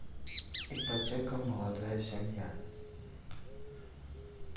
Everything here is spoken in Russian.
ипотека молодая семья